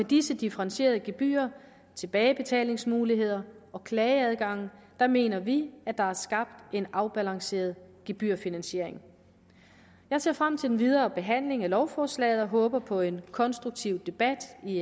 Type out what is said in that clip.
disse differentierede gebyrer tilbagebetalingsmuligheder og klageadgang mener vi at der er skabt en afbalanceret gebyrfinansiering jeg ser frem til den videre behandling af lovforslaget og håber på en konstruktiv debat i